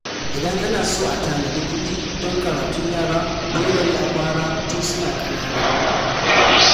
Idan ana so a tanadi kuɗi don karatun yara, dole ne a fara tun suna ƙanana.